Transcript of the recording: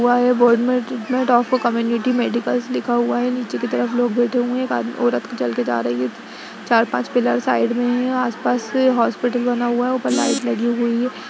community medicals लिखा हुआ है | नीचे की तरफ लोग बैठे हुए हैं | एक औरत चलकर जा रही है | चार पांच पिलर्स साईड में है और आस पास हॉस्पिटल बना हुआ है | ऊपर लाइट लगी हुई है |